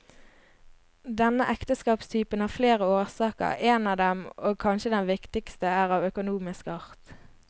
Denne ekteskapstype har flere årsaker, en av dem, og kanskje den viktigste, er av økonomisk art.